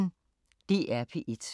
DR P1